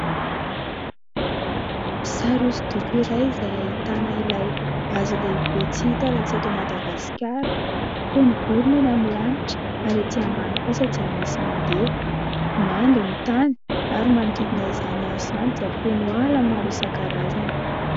Sary hosodoko iray izay ahitana ilay hazo lehibe tsy hita raha tsy eto Madagasikara. Feno vorona eny amin'ny lanitra ary ety ambany kosa dia misy mandeha. Mando ny tany ary manodidina izany hazo izany dia feno ala maro isan-karazany.